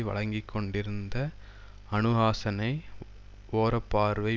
வழங்கிக்கொண்டிருந்த அனுஹாசனை ஓரப்பார்வை